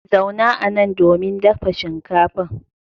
Zauna anan domin dafa shinkafar.